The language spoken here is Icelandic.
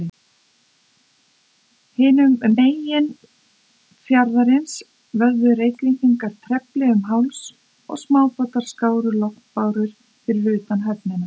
Hinum megin fjarðarins vöfðu Reykvíkingar trefli um háls, og smábátar skáru lognbárur fyrir utan höfnina.